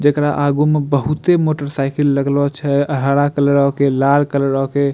जेकरा आगू में बहुते मोटरसाइकिल लगलो छे अ हरा कलरो के लाल कलरो के।